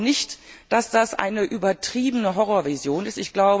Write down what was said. Ich glaube nicht, dass das eine übertriebene Horrorvision